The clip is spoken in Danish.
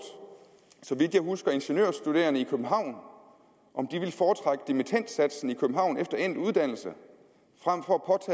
så vidt jeg husker ingeniørstuderende i københavn om de ville foretrække dimittendsatsen i københavn efter endt uddannelse frem for